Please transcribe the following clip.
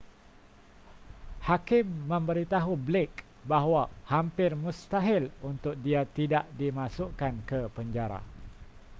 hakim memberitahu blake bahawa hampir mustahil untuk dia tidak dimasukkan ke penjara